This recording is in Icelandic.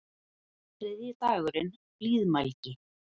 Þriðji dagurinn: Blíðmælgi.